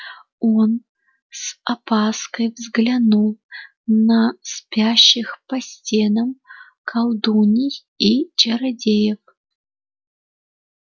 он с опаской взглянул на спящих по стенам колдуний и чародеев